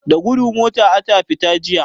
Da gudu mota ata fita jiya.